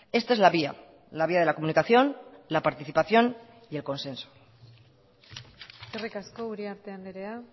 esta es la vía la vía de la comunicación la participación y el consenso eskerrik asko uriarte andrea